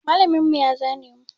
Malamin mu ya zane mu.